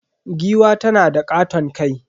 Giwa tanada katon kai.